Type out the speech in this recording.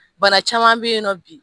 Bana caman bɛ yen nɔ bi